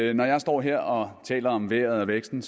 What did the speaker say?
jeg står her og taler om vejret og væksten